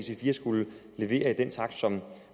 skulle levere i den takt som